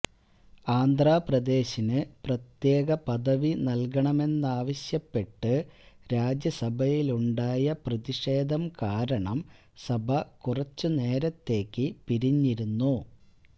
ആന്ധ്രാപ്രദേശിന് പ്രത്യേക പദവി നല്കണമെന്നാവശ്യപ്പെട്ട് രാജ്യസഭയിലുണ്ടായ പ്രതിഷേധം കാരണം സഭ കുറച്ചു നേരത്തേക്ക് പിരിഞ്ഞിരുന്നു